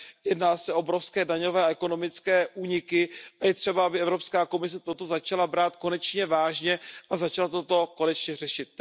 Jedná se o obrovské daňové a ekonomické úniky a je třeba, aby Evropská komise toto začala brát konečně vážně a začala toto konečně řešit.